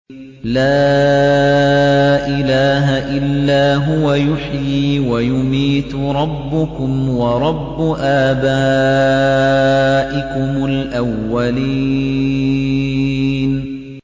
لَا إِلَٰهَ إِلَّا هُوَ يُحْيِي وَيُمِيتُ ۖ رَبُّكُمْ وَرَبُّ آبَائِكُمُ الْأَوَّلِينَ